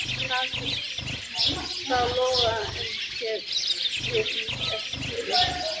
Haraldur brá lófa að enni sér og skyggndist eftir fugli.